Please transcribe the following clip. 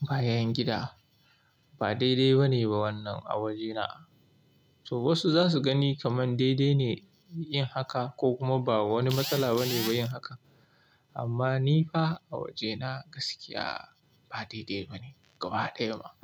bayan gida. Ba daidai ba ne ba wannan a wajena. To wasu za su gani kaman daidai ne yin haka ko kuma ba wani matsala ba ne ba yin haka. Amma ni fa a wajena gaskiya ba daidai ba ne gaba ɗaya ma.